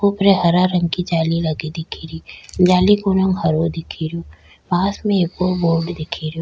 ऊपरे हरा रंग की जाली लगी दिख री जाली को रंग हरा दिख रो पास में एक बोर्ड दिख रो।